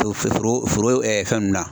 Foro foro fɛn ninnu na